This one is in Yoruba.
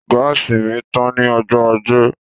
Gáàsì mi tán ní ọjọ́ ajé